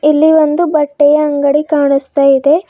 ಇಲ್ಲಿ ಒಂದು ಬಟ್ಟೆಯ ಅಂಗಡಿ ಕಾಣ್ಸ್ತ ಇದೆ.